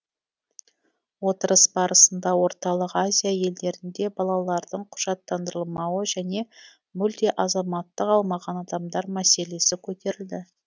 отырыс барысында орталық азия елдерінде балалардың құжаттандырылмауы және мүлде азаматтық алмаған адамдар мәселесі көтерілді